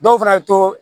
Dɔw fana to